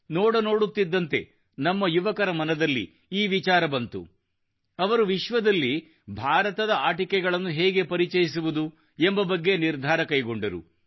ನೋಡ ನೋಡುತ್ತಿದ್ದಂತೆ ನಮ್ಮ ಯುವಕರ ಮನದಲ್ಲಿ ಈ ವಿಚಾರ ಬಂದಿತು ಅವರು ವಿಶ್ವದಲ್ಲಿ ಭಾರತದ ಆಟಿಕೆಗಳನ್ನು ಹೇಗೆ ಪರಿಚಯಿಸುವುದು ಎಂಬ ಬಗ್ಗೆ ನಿರ್ಧಾರ ಕೈಗೊಂಡರು